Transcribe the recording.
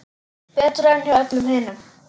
Betra en hjá öllum hinum.